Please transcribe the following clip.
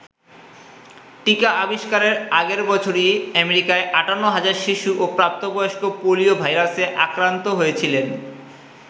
টীকা আবিস্কারের আগের বছরই আমেরিকার ৫৮ হাজার শিশু ও প্রাপ্তবয়স্ক পোলিও ভাইরাসে আক্রান্ত হয়েছিলেন।